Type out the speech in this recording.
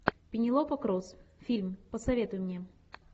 пенелопа круз фильм посоветуй мне